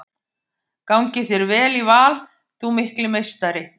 Gangi þér vel í Val þú mikli meistari!